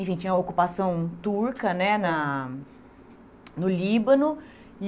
Enfim, tinha ocupação turca né na no Líbano. E